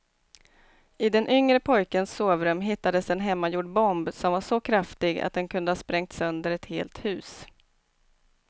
I den yngre pojkens sovrum hittades en hemmagjord bomb som var så kraftig att den kunde ha sprängt sönder ett helt hus.